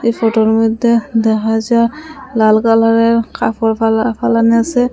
এ ফোটোর মধ্যে দেখা যা লাল কালারের কাপড় ফেলা ফেলান আসে।